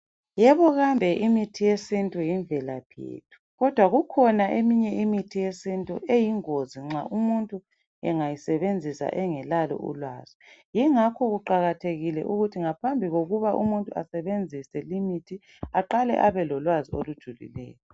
Yebo kambe imithi yesinto yimvelaphi yethu. Kodwa kukhona eminye imithi yesintu eyingozi nxa umuntu engayisebenzisa engelalo ulwazi. Yingakho kuqakathekile ukuthi ngaphambi kokuba umuntu asebenzise imithi, aqale abelolwazi olujulileyo.